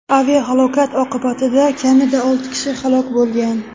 Aviahalokat oqibatida kamida olti kishi halok bo‘lgan.